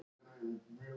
Ég er að skrifa leikrit.